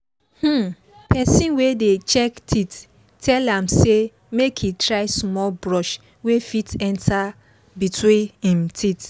um person wey dey check teeth tell am say make he try small brush wey fit enter between him teeth